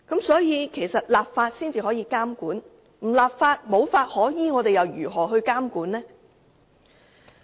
只有立法才能作出監管，如果無法可依，試問如何監管呢？